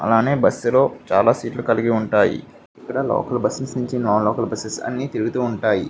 అలానే బస్ లో చాలా సీట్ లు కలిగి ఉంటాయి. ఇక్కడ లోకల్ బస్ నించి నాన్ లోకల్ బసెస్ అన్నీ తిరుగుతూ ఉంటాయి.